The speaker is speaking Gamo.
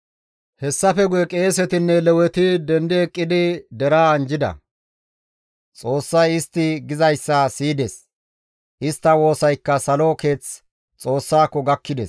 Hessafe guye qeesetinne Leweti dendi eqqidi deraa anjjida; Xoossay istti gizayssa siyides; istta woosaykka salo keeth Xoossako gakkides.